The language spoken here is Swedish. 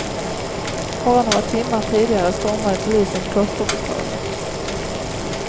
Bara några timmar tidigare stormade polisen klosterbostaden.